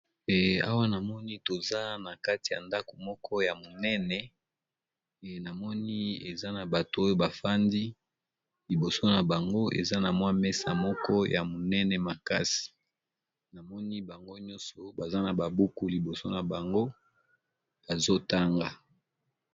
Eh awa namoni toza na kati ya ndako moko ya monene namoni eza na bato oyo bafandi liboso na bango eza na mwa mesa moko ya monene makasi namoni bango nyonso baza na babuku liboso na bango bazotanga.